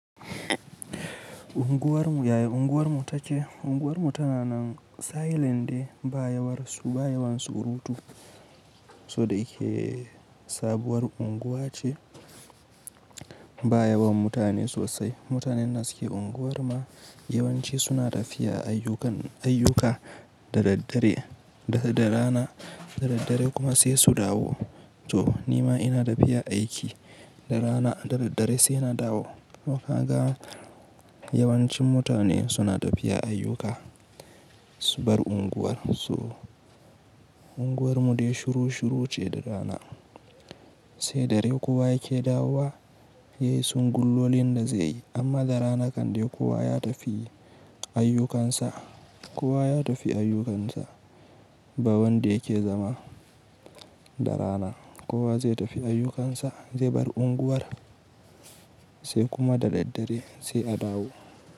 Unguwar mu yaya unguwar mu take? Unguwar mu tana nan silent dai ba yawansu ba yawan surutu. Toh da yake sabuwar unguwa ce ba yawan mutane sosai. Mutanen da suke unguwar mu yawanci suna tafiya ayyukan ayyuka da daddare da rana da daddare kuma sai su dawo. To nima ina tafiya aiki da rana da daddare sai na dawo. So ka ga yawancin mutane suna tafiya ayyuka su bar unguwar so unguwar mu dai shuru shuru ce da rana. Sai dare kowa yake dawowa yayi son gullolin da zaiyi. Amma da rana kan dai kowa ya tafi ayyukansa. Kowa ya tafi ayyukansa ba wanda yake zama da rana. Kowa zai tafi ayyukansa zai bar unguwar sai kuma da daddare sai a dawo.